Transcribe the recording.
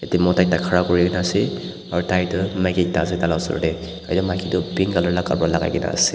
mota ekta khara kurina ase aro tai tuh maiki ekta ase taila usor dae etu maiki tuh pink colour la kapra lagaikena ase.